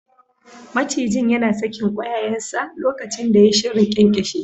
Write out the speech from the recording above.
Macijin yana sakin ƙwayayensa lokacin da yai shirin ƙyanƙyashe shi.